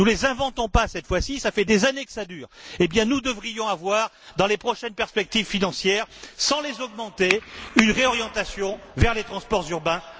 Nous ne les inventons pas cette fois ci, cela fait des années que ça dure. Eh bien, nous devrions avoir, dans les prochaines perspectives financières, sans les augmenter, une réorientation vers les transports urbains.